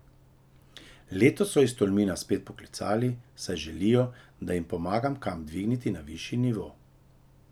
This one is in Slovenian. Letos so iz Tolmina spet poklicali, saj želijo, da jim pomagam kamp dvigniti na višji nivo.